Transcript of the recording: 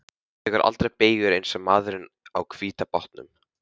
Þú tekur aldrei beygjur eins og maðurinn á hvíta bátnum.